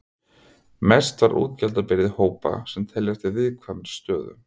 Mest var útgjaldabyrði hópa sem teljast í viðkvæmri stöðu.